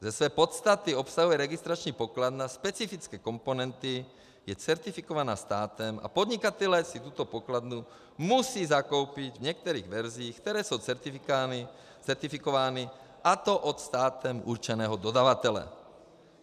Ze své podstaty obsahuje registrační pokladna specifické komponenty, je certifikovaná státem a podnikatelé si tuto pokladnu musí zakoupit v některých verzích, které jsou certifikovány, a to od státem určeného dodavatele.